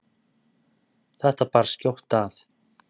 Þetta bar skjótt að.